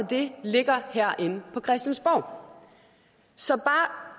det ligger herinde på christiansborg så